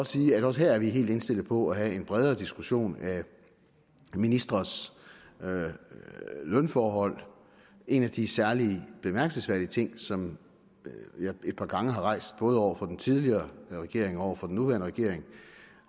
sige at vi også her er helt indstillet på at lave en bredere diskussion af ministres lønforhold en af de særlig bemærkelsesværdige ting som jeg et par gange har rejst både over for den tidligere regering og over for den nuværende regering